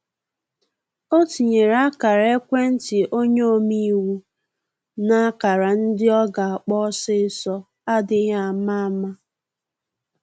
O tinyere ákara-ekwentị onye ome-iwu na ákara ndị ọ ga akpọ osisọ adịghị ama ama